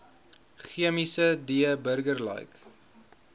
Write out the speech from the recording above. chemiese d burgerlike